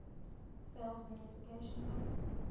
failed verification date